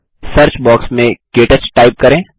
search box में क्टच type करें